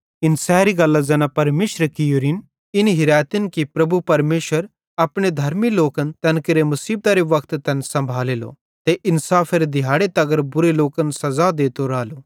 इन सैरी गल्लां ज़ैना परमेशरे कियोरिन इन हिरैतिन कि प्रभु परमेशर अपने धर्मी लोकन तैन केरे मुसीबतरे वक्त तैन सम्भालेलो ते इन्साफेरे दिहाड़े तगर बुरे लोकन सज़ा देतो रालो